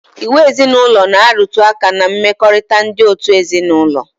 Iwu ezinaụlọ na-arụtụ aka ná mmekọrịta ndị òtù ezinaụlọ